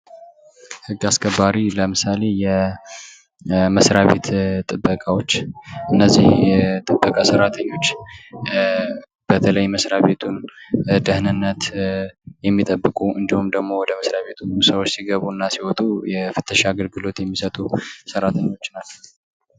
ህግ አስከባሪ ለምሳሌ የመስራቤት ጥበቃዎች እነዚህ የጥበቃ ሰራተኞች በተለይ የመስሪያ ቤቱን ደህንነት የሚጠብቁ እንዲሁም ወደ መስርያ ቤቱ ሰዎች ሲገቡና ሲወጡ የፍተሻ አገልግሎት የሚሰጡ ሰራተኞች ናቸው።